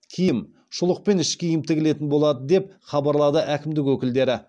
киім шұлық пен іш киім тігілетін болады деп хабарлады әкімдік өкілдері